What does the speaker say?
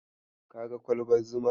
Kaga kwalbar zumar?